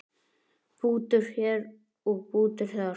Bútur hér og bútur þar.